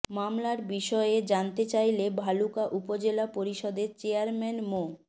মামলার বিষয়ে জানতে চাইলে ভালুকা উপজেলা পরিষদের চেয়ারম্যান মো